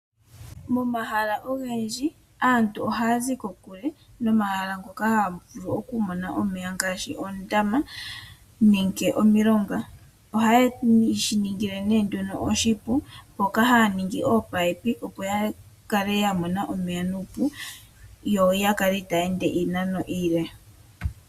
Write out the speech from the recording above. Momahala ogendji aantu ohaya zi kokulule noonzo dhomeya ngaashi oondama nenge omilonga, ohaye shi ningi oshipu mpoka haya ningi ominino dhomeya, opo ya vule oku kala ya mona omeya nuupu yoya kale itaaya ende iinano iile.